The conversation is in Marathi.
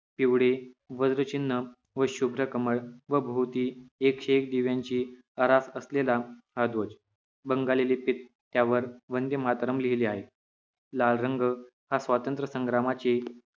पिवळे वज्र चिन्ह व शुभ्र कमळ व भोवती एकशे एक दिव्यांचे आरास असलेला हा ध्वज बंगाली लिपीत त्यावर वंदे मातरम लिहिलेले आहे लाल रंग हा स्वातंत्र संग्रामाचे